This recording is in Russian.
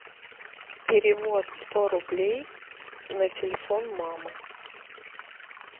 перевод сто рублей на телефон мамы